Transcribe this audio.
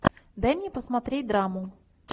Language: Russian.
дай мне посмотреть драму